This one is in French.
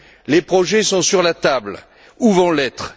Les projets sont sur la table ou vont l'être.